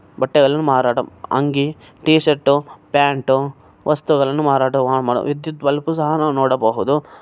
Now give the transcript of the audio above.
ಬಟ್ಟೆಗಳನ್ನು ಮಾರಾಟ ಅಂಗಿ ಟಿ ಶರ್ಟ್ ಪ್ಯಾಂಟ್ ವಸ್ತುಗಳನ್ನು ಮಾರಾಟ ಮಾಡ ವಿದ್ಯುತ್ ಬಲ್ಬ್ ಸಹ ನಾವು ನೋಡಬಹುದು.